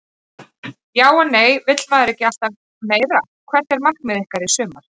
Já og nei vill maður ekki alltaf meira Hvert er markmið ykkar í sumar?